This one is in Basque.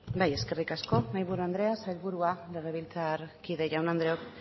bai eskerrik asko mahaiburu andrea sailburua legebiltzarkide jaun andreok